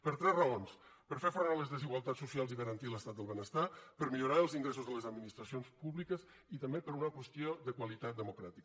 per tres raons per fer front a les desigualtats socials i garantir l’estat del benestar per millorar els ingressos de les administracions públiques i també per una qüestió de qualitat democràtica